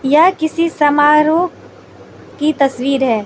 यह किसी समारोह की तस्वीर है।